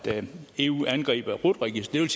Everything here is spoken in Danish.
eu angriber rut registeret